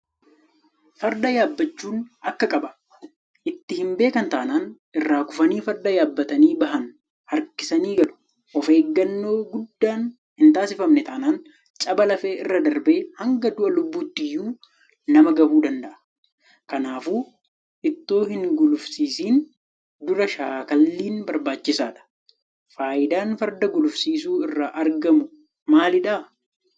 Farda yaabbachuun akka qaba. Itti hinbeekan taanaan irraa kufanii farda yaabbatanii bahan harkisanii galu. Ofeeggannoo guddaan hintaasifamne taanaan caba lafee irra darbee hanga du'a lubbuuttiyyuu nama gahuu danda'a. Kanaafuu itoo hingulufsiisin dura shaakalliin barbaachisaadha. Faayidaan Farda gulufsiisuu irraa argamu maalidha?